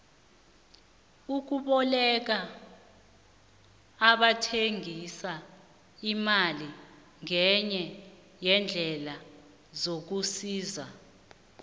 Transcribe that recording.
ukuboleka abathengisa imali ngenye yeendlela zokusisa